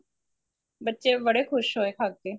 ਬੱਚੇ ਬੜੇ ਖੁਸ਼ ਹੋਏ ਖਾ ਕੇ